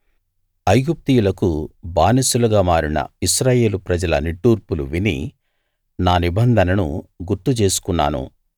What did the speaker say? ఐగుప్తీయులకు బానిసలుగా మారిన ఇశ్రాయేలు ప్రజల నిట్టూర్పులు విని నా నిబంధనను గుర్తు చేసుకున్నాను